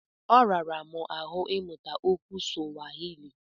Ọ rara m ahụ ịmụta okwu Suwahili.